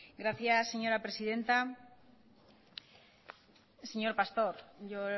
gracias señora presidenta señor pastor yo